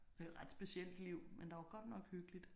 Det er ret specielt liv men der var godt nok hyggeligt